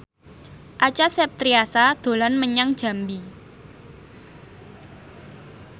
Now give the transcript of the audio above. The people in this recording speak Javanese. Acha Septriasa dolan menyang Jambi